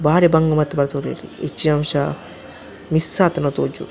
ಬಾರಿ ಬಂಗ ಬತ್ತ್ ಬಲ್ತೊಲ್ಲೆರ್ ಎಚ್ಚಿನಾಂಶ ಮಿಸ್ಸ್ ಆತುಂಡ ತೋಜೊಡು.